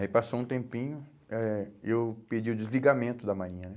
Aí passou um tempinho, eh eu pedi o desligamento da Marinha né?